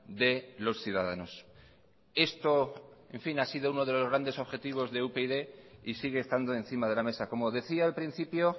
de los ciudadanos esto en fin ha sido uno de los grandes objetivos de upyd y sigue estando encima de la mesa como decía al principio